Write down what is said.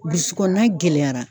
Burusi kɔnɔna gɛlɛyara.